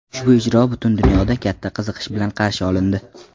Ushbu ijro butun dunyoda katta qiziqish bilan qarshi olindi.